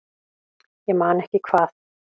Ég man ekki hvað